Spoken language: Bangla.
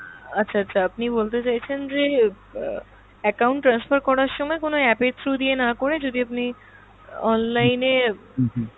আচ্ছা আচ্ছা আপনি বলতে চাইছেন যে আহ account transfer করার সময় কোনো app এর through দিয়ে না করে যদি আপনি online এ